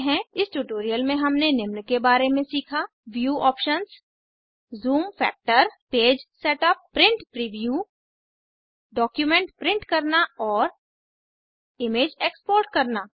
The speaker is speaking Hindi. इस ट्यूटोरियल में हमने निम्न के बारे में सीखा view options zoom factor page setup print preview document print करना और इमेज एक्सपोर्ट करना